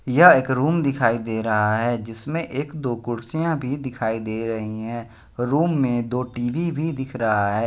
यह एक रूम दिखाई दे रहा है जिसमें एक दो कुर्सियां भी दिखाई दे रही हैं रूम में दो टी_वी भी दिख रहा है।